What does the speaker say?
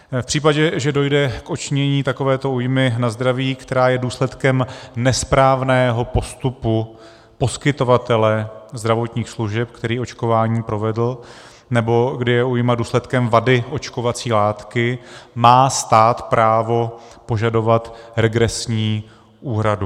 V případě, že dojde k odčinění takovéto újmy na zdraví, která je důsledkem nesprávného postupu poskytovatele zdravotních služeb, který očkování provedl, nebo kdy je újma důsledkem vady očkovací látky, má stát právo požadovat regresní úhradu.